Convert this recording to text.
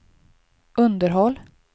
underhåll